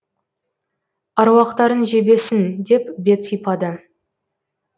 аруақтарың жебесін деп бет сипады